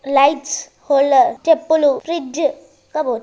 lights holder చెప్పులు fridge cupboard --